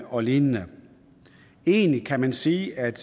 og lignende egentlig kan man sige at